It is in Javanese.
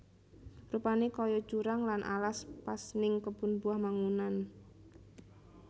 Rupane koyo jurang lan alas pas ning Kebun Buah Mangunan